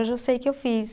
Hoje eu sei que eu fiz.